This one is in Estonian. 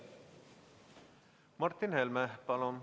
Martin Helme, palun!